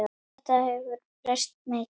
Þetta hefur breyst mikið.